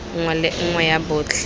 nngwe le nngwe ya botlhe